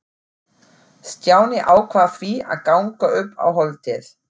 Stjáni ákvað því að ganga upp á Holtið.